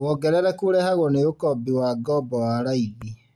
Wongerereku ũrehagwo nĩ ũkombi wa ngombo wa raithi